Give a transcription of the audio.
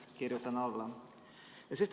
Kirjutan alla!